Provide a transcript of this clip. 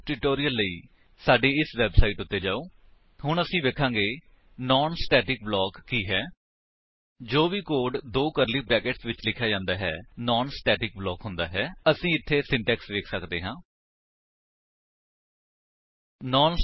HTTP ਡਬਲਯੂਡਬਲਯੂਡਬਲਯੂਡਬਲਯੂਡਬਲਯੂਡਬਲਯੂਡਬਲਯੂਡਬਲਯੂਡਬਲਯੂਡਬਲਯੂਡਬਲਯੂਡਬਲਯੂਡਬਲਯੂਡਬਲਯੂਡਬਲਯੂਡਬਲਯੂਡਬਲਯੂਡਬਲਯੂਡਬਲਯੂਡਬਲਯੂਡਬਲਯੂਡਬਲਯੂਡਬਲਯੂਡਬਲਯੂਡਬਲਯੂਡਬਲਯੂਡਬਲਯੂਡਬਲਯੂਡਬਲਯੂਡਬਲਯੂਡਬਲਯੂਡਬਲਯੂਡਬਲਯੂਡਬਲਯੂਡਬਲਯੂਡਬਲਯੂਡਬਲਯੂਡਬਲਯੂਡਬਲਯੂਡਬਲਯੂ